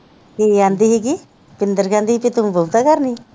ਕੀ ਕਹਿੰਦੀ ਸੀਗੀ, ਸ਼ਿੰਦਰ ਕਹਿੰਦੀ ਸੀਗੀ ਤੂੰ ਬਹੁਤਾ ਕਰਦੀ ਆਂ